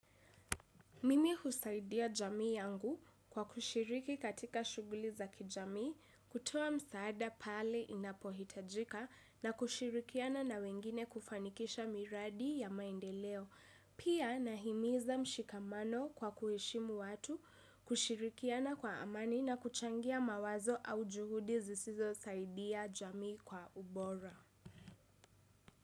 Mimi husaidia jamii yangu, kwa kushiriki katika shughuli za kijamii, kutoa msaada pale inapohitajika na kushirikiana na wengine kufanikisha miradi ya maendeleo. Pia nahimiza mshikamano kwa kuheshimu watu, kushirikiana kwa amani na kuchangia mawazo au juhudi zisizosaidia jamii kwa ubora.